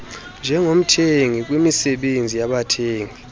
njengomthengi kwimisebenzi yabathengi